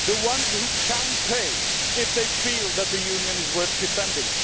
the ones who can pay if they feel that the Union is worth defending.